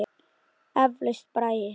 Eflaust braggi.